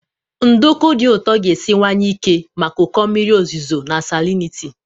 Nduku dị ụtọ ga-esiwanye ike maka ụkọ mmiri ozuzo na salinity.